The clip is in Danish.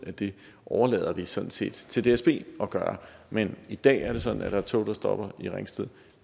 at det overlader vi sådan set til dsb at gøre men i dag er det sådan at der er tog der stopper i ringsted